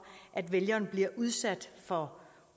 at vælgeren bliver udsat for